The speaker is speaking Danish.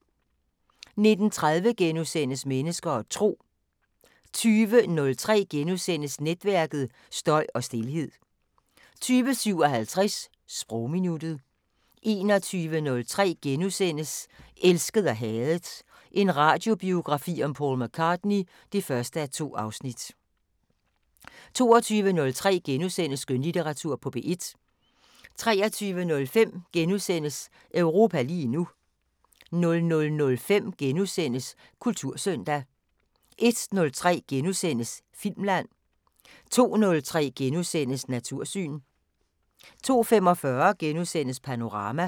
19:30: Mennesker og Tro * 20:03: Netværket: Støj og stilhed * 20:57: Sprogminuttet 21:03: Elsket og hadet – en radiobiografi om Paul McCartney (1:2)* 22:03: Skønlitteratur på P1 * 23:05: Europa lige nu * 00:05: Kultursøndag * 01:03: Filmland * 02:03: Natursyn * 02:45: Panorama *